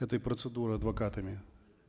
этой процедуры адвокатами